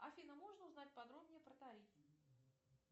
афина можно узнать подробнее про тариф